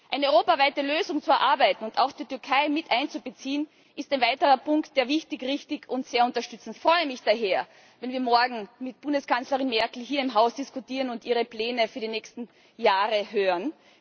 Eine europaweite Lösung zu erarbeiten und auch die Türkei mit einzubeziehen, ist ein weiterer Punkt, der wichtig, richtig und sehr unterstützenswert ist. Ich freue mich daher, wenn wir morgen mit Bundeskanzlerin Merkel hier im Haus diskutieren und ihre Pläne für die nächsten Jahre hören.